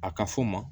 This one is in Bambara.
A ka fɔ o ma